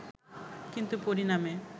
কিন্তু পরিণামে